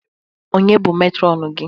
Ọnye bụ Metrọnu gị?